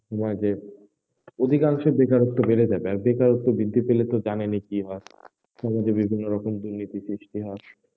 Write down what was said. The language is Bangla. সময় যে অধিকাংশ বেকারত্ব বেড়ে যাবে, আর বেকতত্ব বৃদ্ধি পেলে তো জানেনই কি হয় সমাজে বিভিন্ন রকম দুর্নীতির সৃষ্টি হয়,